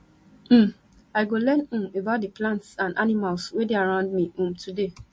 um i go learn um about di plants and animals wey dey around me um today